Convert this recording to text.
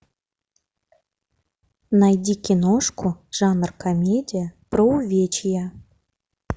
найди киношку жанр комедия про увечья